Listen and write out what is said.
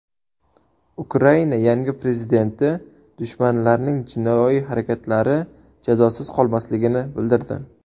Ukraina yangi prezidenti dushmanlarning jinoiy harakatlari jazosiz qolmasligini bildirdi.